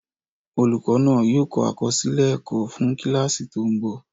Olùkọ́ náà yóò kọ àkọsílẹ̀ ẹ̀kọ́ fún kíláàsì tó ń bọ̀